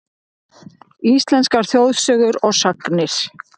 Íslenskar þjóðsögur og sagnir.